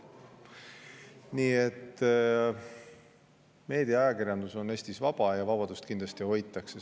Nii et meedia ja ajakirjandus on Eestis vaba ja seda vabadust kindlasti hoitakse.